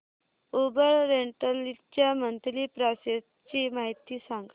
Uber rental च्या monthly passes ची माहिती सांग